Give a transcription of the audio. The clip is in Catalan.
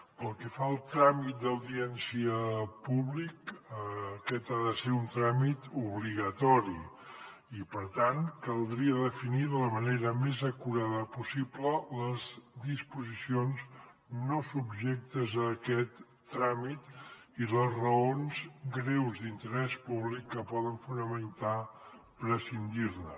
pel que fa al tràmit d’audiència públic aquest ha de ser un tràmit obligatori i per tant caldria definir de la manera més acurada possible les disposicions no subjectes a aquest tràmit i les raons greus d’interès públic que poden fonamentar prescindir ne